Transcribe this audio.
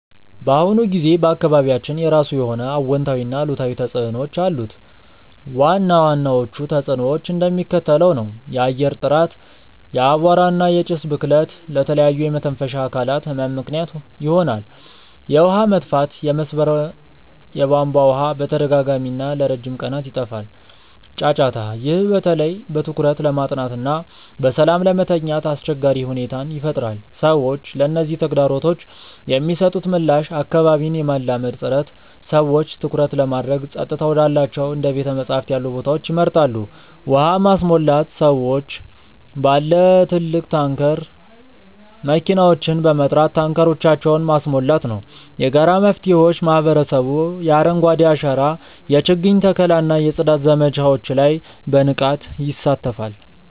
በአሁኑ ጊዜ በአካባቢያችን የራሱ የሆነ አዎንታዊና አሉታዊ ተጽዕኖዎች አሉት። ዋና ዋናዎቹ ተጽዕኖዎች እንደሚከተለው ነው፦ የአየር ጥራት፦ የአቧራ እና የጭስ ብክለት ለተለያዩ የመተንፈሻ አካላት ህመም ምክንያት ይሆናል። የውሃ መጥፋት፦ የመስመር የቧንቧ ውሃ በተደጋጋሚና ለረጅም ቀናት ይጠፋል። ጫጫታ፦ ይህ በተለይ በትኩረት ለማጥናትና በሰላም ለመተኛት አስቸጋሪ ሁኔታን ይፈጥራል። ሰዎች ለነዚህ ተግዳሮቶች የሚሰጡት ምላሽ አካባቢን የማላመድ ጥረት፦ ሰዎች ትኩረት ለማድረግ ጸጥታ ወዳላቸው እንደ ቤተ-መጻሕፍት ያሉ ቦታዎችን ይመርጣሉ። ውሃ ማስሞላት፦ ሰዎች ባለ ትልቅ ታንከር መኪናዎችን በመጥራት ታንከሮቻቸውን ማስሞላት ነው። የጋራ መፍትሄዎች፦ ማህበረሰቡ የአረንጓዴ አሻራ የችግኝ ተከላ እና የጽዳት ዘመቻዎች ላይ በንቃት ይሳተፋል።